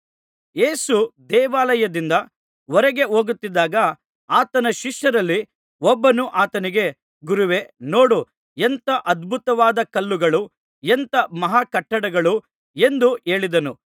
ಯೇಸು ದೇವಾಲಯದಿಂದ ಹೊರಗೆ ಹೋಗುತ್ತಿದ್ದಾಗ ಆತನ ಶಿಷ್ಯರಲ್ಲಿ ಒಬ್ಬನು ಆತನಿಗೆ ಗುರುವೇ ನೋಡು ಎಂಥಾ ಅದ್ಭುತವಾದ ಕಲ್ಲುಗಳು ಎಂಥಾ ಮಹಾಕಟ್ಟಡಗಳು ಎಂದು ಹೇಳಿದನು